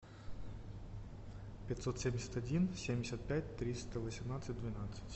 пятьсот семьдесят один семьдесят пять триста восемнадцать двенадцать